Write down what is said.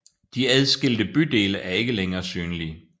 De adskilte bydele er ikke længere synlige